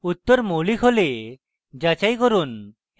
উত্তর মৌলিক হলে যাচাই করুন